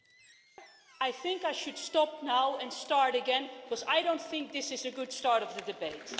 Mr President, I think I should stop now and start again because I don't think this is a good start to the debate.